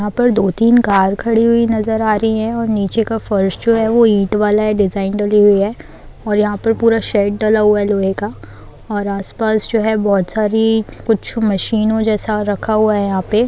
यहाँ पर दो-तीन कार खड़ी हुई नजर आ रही है और नीचे का फर्श जो है वो ईंट वाला है। डिज़ाइन डली हुई है। और यहाँ पर पूरा शेड डला हुआ है लोहे का। और आसपास जो है बहुत सारी कुछ मशीनों जैसा रखा हुआ है यहाँ पे।